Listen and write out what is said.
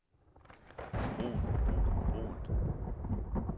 brugen brugen brugen